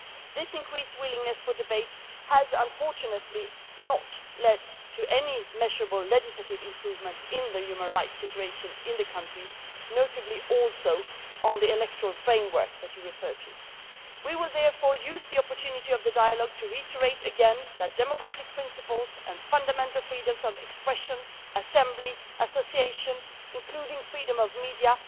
This increased willingness for debate has, unfortunately, not led to any measurable legislative improvements in the human rights situation in the country, notably also on the electoral framework that you referred to. We will therefore use the opportunity of the dialogue to reiterate again that democratic principles and fundamental freedoms of expression, assembly, association, including freedom of media